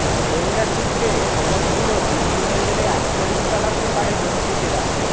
গোয়েন্দা সূত্রে খবর ছিল বিমানবন্দরে আক্রমন চালাতে পারে দুষ্কৃতিরা